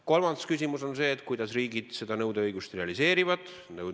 Kolmas küsimus on see, et kuidas riigid seda nõudeõigust realiseerivad.